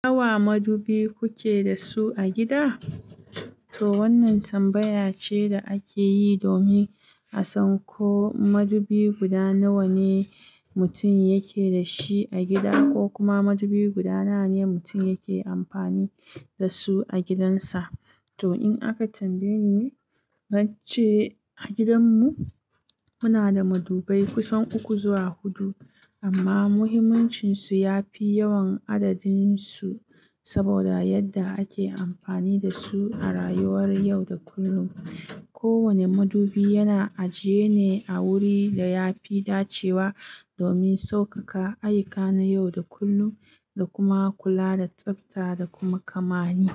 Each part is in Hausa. Nawa madubi kuke da su a gida? To wannan tambaya ce da ake yi domin a san ko madubi guda nawa ne mutum yake da shi a gida ko kuma madubi guda nawa ne mutum yake amfani da su a gidansa. To in aka tambaye ni, zance a gidanmu muna da madubai kusan uku zuwa hudu amma muhimmancinsu ya fi yawan adadinsu saboda yadda ake amfani da su a rayuwar yau da kullum. Kowane madubi yana ajiye ne a wuri da ya fi dacewa domin saukaka ayyuka na yau da kullum da kuma kula da tsafta da kuma kamani.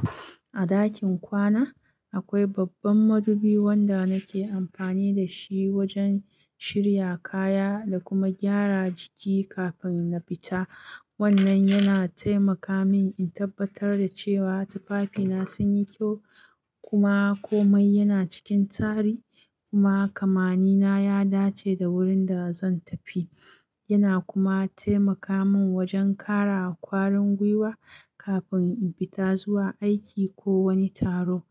A ɗakin kwana akwai babban madubi wanda nake amfani da shi wajen shirya kaya da kuma gyara jiki kafin in fita. Wannan yana taimaka min in tabbatar da cewa tufafina sun yi kyau kuma komai yana cikin tsari kuma kamani na ya dace da wurin da zan tafi. Yana kuma taimaka min wajen ƙara ƙwarin gwiwa kafin in fita zuwa aiki ko wani taro.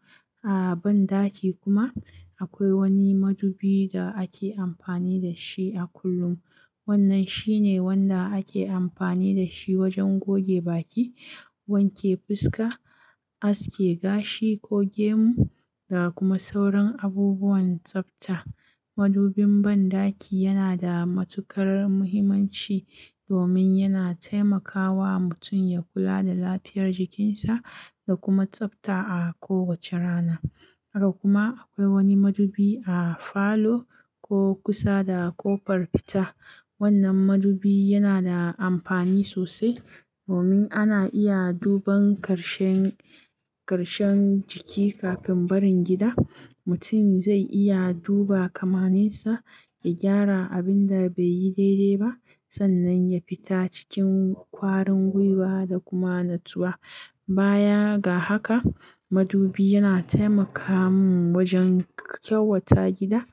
A banɗaki kuma akwai wani madubi da ake amfani da shi a kullum. Wannan shine wanda ake amfani da shi wajen goge baki, wanke fuska, aske gashi, ko gemu da kuma sauran abubuwan tsafta. Madubin banɗaki yana da matuƙar muhimmanci domin yana taimakawa mutum ya kula da lafiyar jikinsa da kuma tsafta a kowace rana. Haka kuma akwai wani madubi a falo ko kusa da ƙofar fita. Wannan madubi yana da amfani sosai domin ana iya duban ƙarshen, ƙarshen jiki kafin barin gida. Mutum zai iya duba kamaninsa ya gyara abin da bai yi daidai ba sannan ya fita cikin ƙwarin gwiwa da kuma natsuwa. Baya ga haka, madubi yana taimaka mun wajen kyawata gida.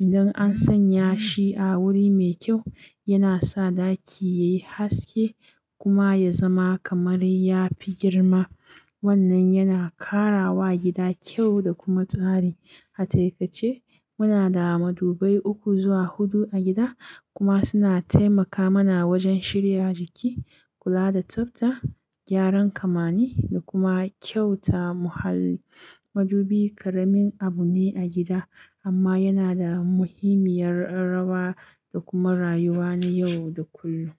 Idan an sanya shi a wuri mai kyau yana sa ɗaki yayi haske kuma ya zama kamar ya fi girma. Wannan yana ƙara wa gida kyau da kuma tsari. A taikace muna da madubai uku zuwa hudu a gida kuma suna taimaka mana wajen shirya jiki, kula da tsafta, gyaran kamani da kuma kyauta muhalli madubi ƙaramin abu ne a gida amma yana da muhimmiyar rawa da kuma rayuwa na yau da kullum.